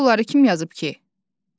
Bəs onları kim yazıb ki?